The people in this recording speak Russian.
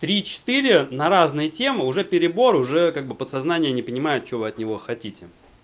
три четыре на разные темы уже перебор уже как бы подсознание не понимает что вы от него хотите